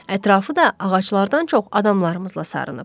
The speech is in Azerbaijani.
Ətrafı da ağaclardan çox adamlarımızla sarınıb.